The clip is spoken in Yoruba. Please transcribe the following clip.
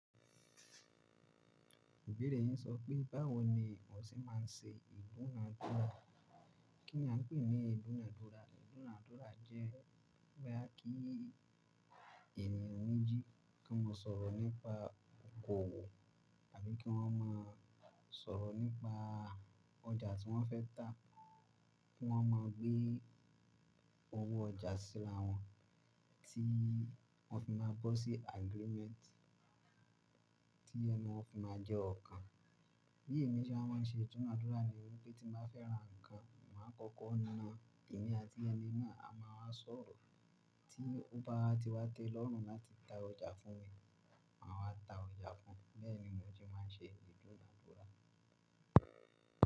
Ibẹ̀rẹ̀ yín sọ pé báwo ni wọ́n ti máa ń ṣe ìdúnadúrà? Kí ni a ń pè ní ìdúnadúrà? Ìdúnadúrà jẹ́ wípé kí ènìyàn méjì kí wọ́n sọ̀rọ̀ nípa okòwò tàbí kí wọ́n máa sọ̀rọ̀ nípa ọjà tí wọ́n fẹ́ tá, kí wọ́n má gbé owó ọjà síra wọn tí wọ́n fi máa gbọ́ sí agreement tí ẹnu wọ́n fi máa jẹ́ ọkàn. Bí èmi ṣé wá mã nṣe ìdúnadúrà ni wípé tí máa fẹ́ ra nǹkan, màá kọ́kọ́ na ènìyàn tí ẹni náà a máa wá sọ̀rọ̀ tí ó bá ti wá tẹ́ lọ́na tí ta ọjà fún mi, màá wá ta ọjà fún un. Bẹ́ẹ̀ ni wọ́n ti máa ń ṣe ìdúnadúrà.